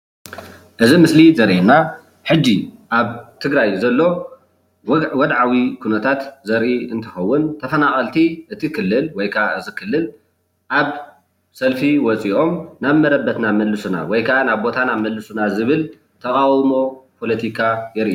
እዚ ምስሊ ዘርእየና ሕጂ ኣብ ትግራይ ዘሎ ወድዓዊ ኩነታት ዘርኢ እንትከውን ተፈናቀልቲ እቲ ክልል ወይ ክዓ እዚ ክልል ኣብ ሰልፊ ወፂኦም ናብ መረበትና መልሱና ወይ ከዓ ናብ ቦታና መልሱና ዝብል ተቃውሞ ፖለቲካ የርኢ፡፡